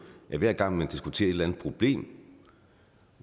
at hver gang man diskuterer et eller andet problem